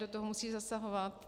do toho musí zasahovat.